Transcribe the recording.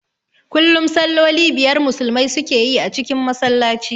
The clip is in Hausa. Kullum salloli biyar Musulmai su ke yi a cikin Masallaci